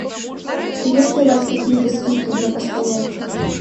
есть ли у вас какие то скидки для постояльцев